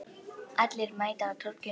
Allir mæta á Torginu